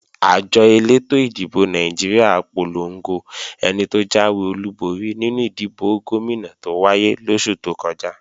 Àjọ elétò ìdìbò Nàìjíríà polongo ẹni tó jáwé olúborí nínú ìdìbò Gómìnà tó wáyé lóṣù tó kọjá